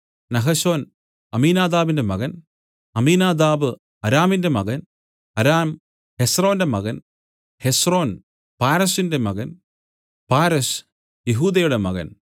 Nahshon അമ്മീനാദാബിന്റെ മകൻ Amminadab അരാമിന്റെ മകൻ അരാം ഹെസ്രോന്റെ മകൻ ഹെസ്രോൻ പാരെസിന്റെ മകൻ പാരെസ് യെഹൂദയുടെ മകൻ